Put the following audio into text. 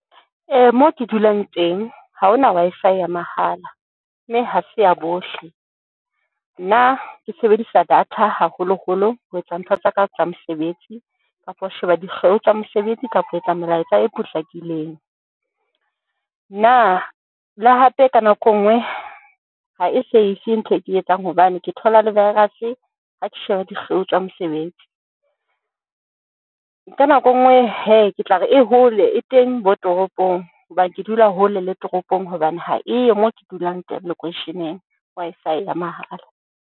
Moo ke dulang teng ha hona Wi-Fi ya mahala mme ha se ya bohle. Nna ke sebedisa data haholo holo ho etsa ntho tsaka tsa mosebetsi kapa ho sheba dikgeo tsa mosebetsi kapa ho etsa melaetsa e potlakileng, na le hape ka nako e nngwe ha e safe ntho e ke etsang hobane ke thola le virus-e, ha ke sheba dikgeo tsa mosebetsi. Ka nako e nngwe he, ke tla re e hole e teng bo toropong, hobane ke dula hole le toropong hobane ha e yo moo ke dulang teng lekweisheneng, Wi-Fi ya mahala.